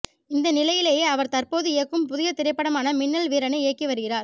இந்த நிலையிலேயே அவர் தற்போது இயக்கும் புதிய திரைப்படமான மின்னல் வீரனை இயக்கிய வருகிறார்